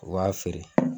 U b'a feere